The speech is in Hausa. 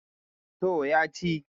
to ya ci